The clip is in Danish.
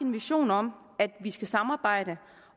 en vision om at vi skal samarbejde